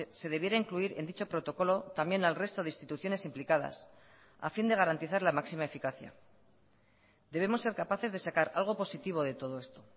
se debiera incluir en dicho protocolo también al resto de instituciones implicadas a fin de garantizar la máxima eficacia debemos ser capaces de sacar algo positivo de todo esto